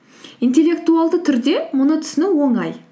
интеллектуалды түрде оны түсіну оңай